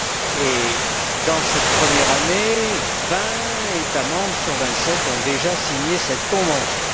Au cours de cette première année, vingt États membres sur vingt sept ont déjà signé cette convention.